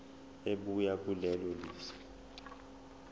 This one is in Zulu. ebuya kulelo lizwe